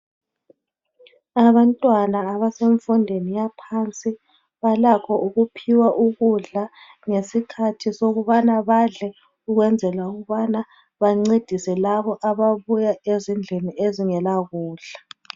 Abantwana abasemfundeni yaphansi balakho ukuphiwa ukudla lesikhathi ngesikhathi sokubana badle ukwenzela ukubanai bancedise labo ababuya ezindilini ezingela kudla.